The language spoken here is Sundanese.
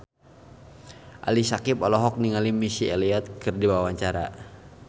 Ali Syakieb olohok ningali Missy Elliott keur diwawancara